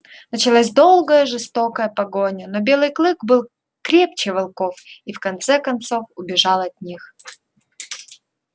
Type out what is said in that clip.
началась долгая жестокая погоня но белый клык был крепче волков и в конце концов убежал от них